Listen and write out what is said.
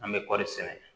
An bɛ kɔri sɛnɛ